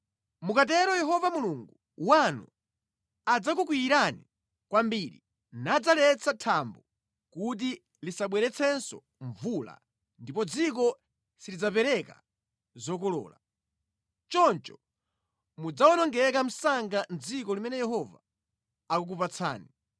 Mukatero Yehova Mulungu wanu adzakukwiyirani kwambiri, nadzaletsa thambo kuti lisabweretsenso mvula ndipo dziko silidzapereka zokolola. Choncho mudzawonongeka msanga mʼdziko limene Yehova akukupatsani.